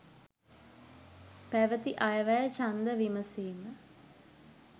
පැවැති අයවැය ඡන්ද විමසීම